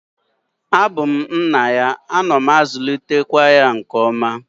A bu m nna ya, ana m akulitekwa ya nke oma